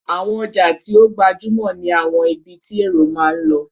Àwọn ọjà tí ó gbajúmò ní àwọn ibi tí èrò máa ń lọ.